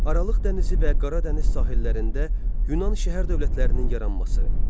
Aralıq dənizi və Qara dəniz sahillərində Yunan şəhər dövlətlərinin yaranması.